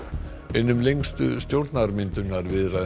einum lengstu stjórnarmyndunarviðræðum